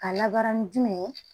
A labaara ni jumɛn ye